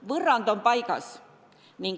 Võrrand on paigas.